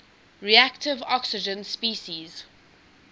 reactive oxygen species